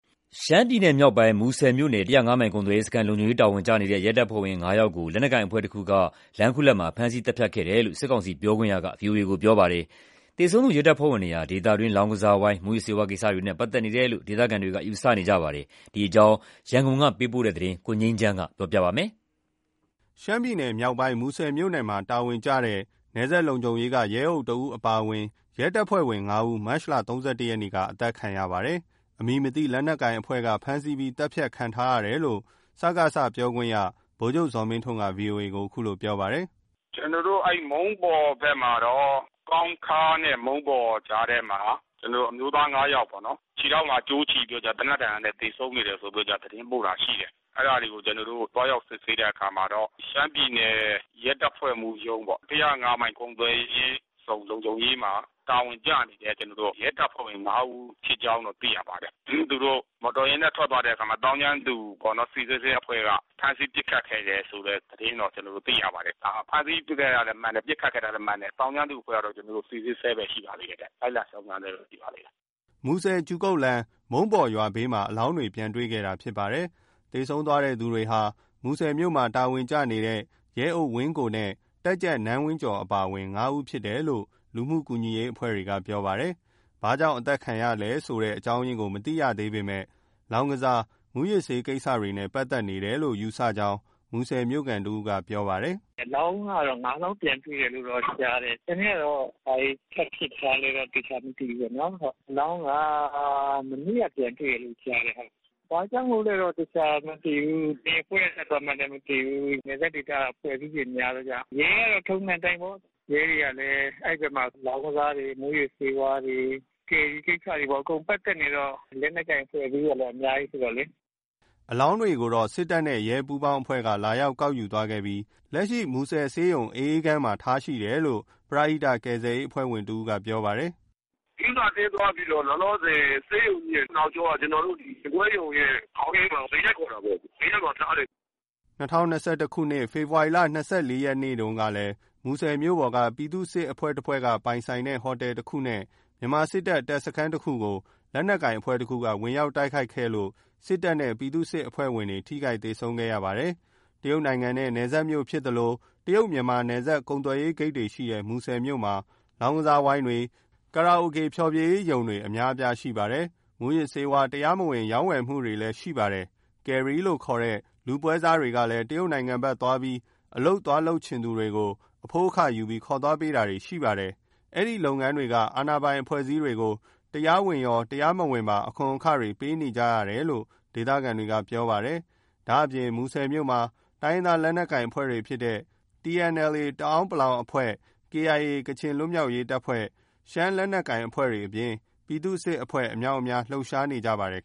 ရှမ်းပြည်နယ်မြောက်ပိုင်း မူဆယ်မြို့နယ် မိုင်ကုန်သွယ်ရေးုစခန်း လုံခြုံရေးတာဝန်ကျနေတဲ့ရဲတပ်ဖွဲ့ဝင် ဦးကို လက်နက်ကိုင်အဖွဲ့တခုက လမ်းခုလတ်မှာ ဖမ်းဆီးသတ်ဖြတ်ခဲ့တယ်လို့ စစ်ကောင်စီပြောခွင့်ရက ဗွီအိုအေကို ပြောပါတယ်။ သေဆုံးသူရဲတပ်ဖွဲ့ဝင်တွဟာ ဒေသတွင်း လောင်းကစားဝိုင်း မူးယစ်ဆေးဝါးကိစ္စတွေနဲ့ ပက်သက်နေတယ်လို့ ဒေသခံတွေက ယူဆနေကြပါတယ်။ ဒီအကြောင်းရန်ကုန်ကပေးပို့တဲ့သတင်းကို ကိုငြိမ်းချမ်းက တင်ပြပေးထားပါတယ်။ ရှမ်းပြည်နယ်မြောက်ပိုင်း မူဆယ်မြို့နယ်မှာတာဝန်ကျနေတဲ့ နယ်စပ်လုံခြုံရေးက ရဲအုပ်တဦးအပါဝင် ရဲတပ်ဖွဲ့ဝင် ၅ ဦး မတ်လ ၃၁ ရက်နေ့က အသတ်ခံရပါတယ်။ အမည်မသိ လက်နက်ကိုင်အဖွဲ့ကဖမ်းဆီးပြီး သတ်ဖြတ်ခံထားရတယ်လို့ စကစပြောခွင့်ရ ဗိုလ်ချုပ်ဇော်မင်းထွန်းက ဗွီအိုအေကို အခုလိုပြောပါတယ်။ "အဲဒီ မုန်းပေါ်ဘက်မှာတော့ ကောင်းခါးနဲ့မုန်းပေါ်ကြားထဲမှာ ကျနော်တို့ အမျိုးသား ယောက်ပေါ့နော်။ ခြေထောက်မှာကြိုးချီပြီးတော့ သေနတ်ဒဏ်ရာနဲ့ သေဆုံးနေတယ်ဆိုပြီးတော့ သတင်းပို့တာ ရှိတယ်။ အဲဒါတွေကိုသွားရောက်စစ်ဆေးတဲ့အခါမှာတော့ ရှမ်းပြည်နယ် ရဲတပ်ဖွဲ့မှူးရုံးပေါ့။ မိုင်ကုန်သွယ်ရေးမှာ လုံခြုံရေး တာဝန်ကျနေတဲ့ရဲတပ်ဖွဲ့ဝင် ဦး ဖြစ်ကြောင်းတော့ သိရပါတယ်။ သူတို့ မော်တော်ယာဉ်နဲ့ထွက်သွားတဲ့အချိန်မှာ သောင်းကျန်းသူ အဖွဲ့က ဖမ်းဆီးပစ်ခတ်ခဲ့တယ်လို့လည်း သတင်းတော့ ကျနော်တို့ သိရပါတယ်။ ဖမ်းဆီးခဲ့တာလည်း မှန်တယ်။ ပစ်ခတ်ခဲ့တာလည်း မှန်တယ်။ သောင်းကျန်းသူအဖွဲ့ကတော့ ကျနော်တို့ စီစစ်ဆဲပဲ ရှိပါသေးတယ်။ လိုက်လံ စုံစမ်းဆဲပဲ ရှိပါသေးတယ်။" အလောင်းတွေကိုတော့ မူဆယ်-ကျူကုတ်လမ်း မုံးပေါ်ရွာဘေးမှာ ပြန်တွေ့ခဲ့တာဖြစ်ပါတယ်။ သေဆုံးသွားသူတွေဟာ မူဆယ်မြို့မှာ တာဝန်ကျနေတဲ့ ရဲအုပ် ဝင်းကိုနဲ့ တပ်ကြပ်နန်းဝင်းကျော်အပါအဝင် ၅ ဦးဖြစ်တယ်လို့ လူမှုကူညီရေးအဖွဲ့တွေကပြောပါတယ်။ ဘာကြောင့်အသတ်ခံရတဲ့အကြောင်းအရင်းကို အသေချာမသိရသေးပေမယ့် လောင်းကစား မူးယစ်ဆေးကိစ္စတွေနဲ့ ပက်သက်နေတယ်လို့ယူဆကြောင်း မူဆယ်မြို့ခံတဦးကပြောပါတယ်။ "အလောင်းက မနေ့က ပြန်တွေ့ထားတယ်။ ဘာကြောင့်လို့လဲတော့ အသေချာမသိဘူး။ ဘယ်အဖွဲ့က လုပ်သွားမှန်းလည်း မသိဘူး။ နယ်စပ်ဒေသက အဖွဲ့အစည်းတွေ များတယ်ဗျ။ ရဲကလည်း ထုံးစံအတိုင်းပေါ့။ ရဲတွေကလည်း အဲဒီဘက်မှာ လောင်းကစားတွေ၊ မူးယစ်ဆေးဝါးတွေ၊ ကယ်ရီကိစ္စတွေ အကုန်ပက်သက်နေတော့ လက်နက်ကိုင်အဖွဲ့အစည်းတွေလည်း အများကြီးဆိုတော့လေ။" အလောင်းတွေကိုတော့ စစ်တပ်နဲ့ရဲတို့ ပူးပေါင်းအဖွဲ့က လာရောက်ကောက်ယူသွားခဲ့ပြီးလက်ရှိ မူဆယ် ဆေးရံသေတိုက် မှာ ထားရှိတယ်လို့ ပရဟိတကယ်ဆယ်ရေးအဖွဲ့ဝင်တဦးက ပြောပါတယ်။ "ဂရုဏာအသင်းသွားပြီးတော့ လောလောဆယ် ဆေးရုံကြီးရဲ့နောက်ကျော ရင်ခွဲရုံရဲ့ခေါင်းရင်းက သေတိုက်ခေါ်တာပေါ့။ သေတိုက်မှာထားတယ်။" ၂၀၂၁ ခုနှစ် ဖေဖော်ဝါရီ ၂၄ ရက်တုန်းကလည်း မူဆယ်မြို့ပေါ်က ပြည်သူ့စစ်တဖွဲ့ပိုင်ဆိုင်တဲ့ဟိုတယ်တခုနဲ့ မြန်မာစစ်တပ် တပ်စခန်းတခုကို လက်နက်ကိုင်အဖွဲ့တခုက ဝင်ရောက်တိုက်ခိုက်ခဲ့လို့ စစ်တပ်နဲ့ ပြည်သူ့စစ်အဖွဲ့ဝင်တွေ ထိခိုက်သေဆုံးခဲ့ကြပါတယ်။ တရုတ်နိုင်ငံနဲ့ နယ်စပ်မြို့ဖြစ်သလို တရုတ် မြန်မာနယ်စပ်ကုန်သွယ်ရေးဂိတ်တွေရှိတဲ့ မူဆယ်မြို့မှာ လောင်းကစား ဝိုင်းတွေ၊ ကာရာအိုကေ ဖျော်ဖြေရေးရုံတွေ အများအပြားရှိပါတယ်။ မူးယစ်ဆေးဝါး တရားမဝင် ရောင်းဝယ် မှုတွေလည်း ရှိပါတယ်။ ကယ်ရီလို့ခေါ်ကြတဲ့ လူပွဲစားတွေကလည်း တရုတ်နိုင်ငံဘက်သွားပြီး အလုပ်သွားလုပ် ချင်သူတွေကို အဖိုးအခယူပြီး ခေါ်သွားပေးတာတွေရှိပါတယ်။ အဲဒီလုပ်ငန်းတွေက အာဏာပိုင်အဖွဲ့အစည်းတွေကို တရားဝင်ရော တရားမဝင်ပါ အခွန်အခတွေ ပေးနေကြရတယ်လို့ ဒေသခံတွေက ပြောပါတယ်။ ဒါ့အပြင် မူဆယ်မြို့မှာ တိုင်းရင်းသားလက်နက်ကိုင်အဖွဲ့တွေဖြစ်တဲ့ TNLA တအာင်းပလောင်တပ်ဖွဲ့၊ KIA ကချင်လွတ်မြောက် ရေးတပ်ဖွဲ့၊ ရှမ်းလက်နက်အဖွဲ့တွေအပြင် ပြည်သူ့စစ်အဖွဲ့ အများအပြား လှုပ်ရှားနေကြပါတယ်